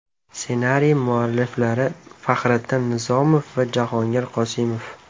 Ssenariy mualliflari Fahriddin Nizomov va Jahongir Qosimov.